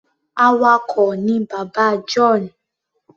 Awakọ̀ ni bàbá John.